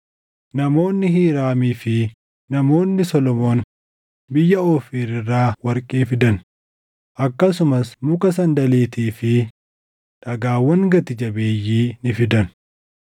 Namoonni Hiiraamii fi namoonni Solomoon biyya Oofiir irraa warqee fidan; akkasumas muka sandaliitii fi dhagaawwan gati jabeeyyii ni fidan.